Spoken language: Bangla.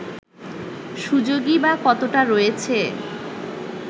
সুযোগই বা কতটা রয়েছে